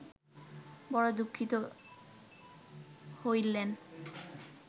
বড় দুঃখিত হইলেন